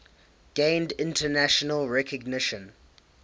gained international recognition